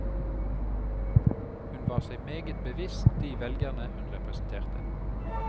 Hun var seg meget bevisst de velgere hun representerte.